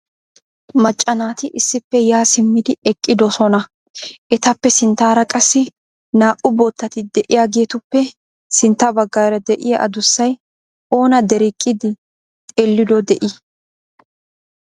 Macca naati issippe ya simmidi eqqidoosona. Etappe sinttaara qassi naa"u boottati de'iyaageetuppe sintta baggaara de'iya addussay oona dereqqidi xeellido de'ii?